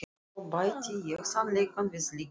Og svo bæti ég sannleikanum við lygina.